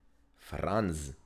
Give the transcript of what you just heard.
Franz.